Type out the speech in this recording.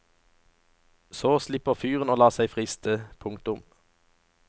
Så slipper fyren å la seg friste. punktum